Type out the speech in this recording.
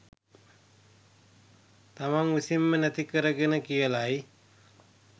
තමන් විසින්ම නැති කරගෙන කියලයි.